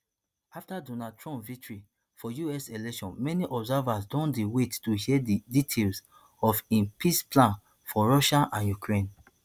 afta donald trump victory for us election many observers don dey wait to hear di details of im peace plan for russia and ukraine